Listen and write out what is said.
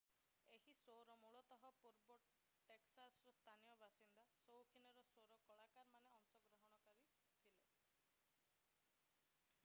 ଏହି ସୋ'ରେ ମୂଳତଃ ପୂର୍ବ ଟେକ୍ସାସର ସ୍ଥାନୀୟ ବାସିନ୍ଦା ସୌଖୀନ ସ୍ୱର କଳାକାରମାନେ ଅଂଶଗ୍ରହଣ କରିଥିଲେ